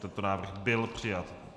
Tento návrh byl přijat.